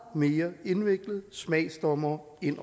mere indviklet smagsdommere ind